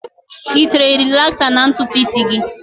I tere rịlaksa na ntutu isi gị?